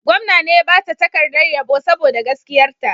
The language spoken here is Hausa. Gwamna ne ya ba ta takardar yabo saboda gaskiyarta.